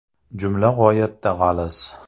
Jumla g‘oyatda g‘aliz.